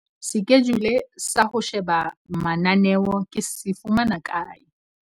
Sekejule sa ho sheba mananeo ke se fumana kae?